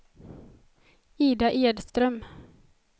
Ida Edström